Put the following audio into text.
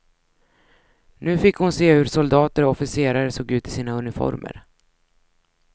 Nu fick hon se hur soldater och officerare såg ut i sina uniformer.